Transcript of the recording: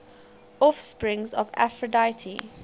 offspring of aphrodite